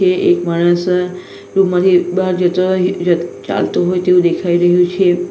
એ એક માણસ રૂમ માંથી બાર જતો હોય ર ચાલતો હોય તેવું દેખાય રહ્યું છે.